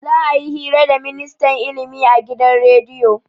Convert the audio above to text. Za'a yi hira da ministan ilimi a gidan rediyo.